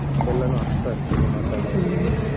ಎಲ್ಲಾನು ಅರ್ಥ ಆಗ್ತದೆ ಮಾತಾಡುವಂತದ್ದು.